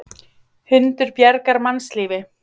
Hundur bjargar mannslífi